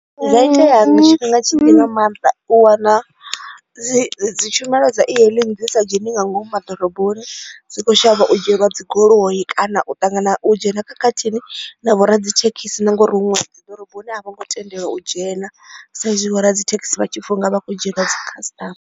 Zwi a itea tshifhinga tshitzhi nga maanḓa u wana dzi tshumelo dza e-hailing dzi sa dzheni nga ngomu ma ḓoroboni dzi kho shavha u dzhielwa dzi goloi kana u ṱangana u dzhena khakhathini na vho ra dzi thekhisi ngori huṅwe dzi ḓoroboni a vho ngo tendelwa u dzhena sa izwi vho radzithekhisi vha tshipfa u nga vha kho dzhielwa dzi customer.